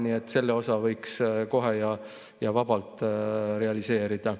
Nii et selle osa võiks kohe vabalt realiseerida.